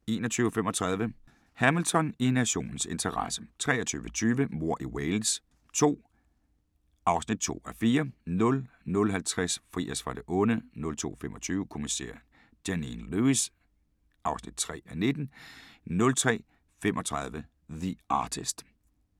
21:35: Hamilton: I nationens interesse 23:20: Mord i Wales II (2:4) 00:50: Fri os fra det onde 02:25: Kommissær Janine Lewis (3:19) 03:35: The Artist